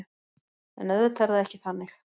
En auðvitað er það ekki þannig